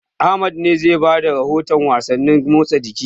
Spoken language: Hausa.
Ahmad ne zai ba da rahotan wasannin motsa jiki.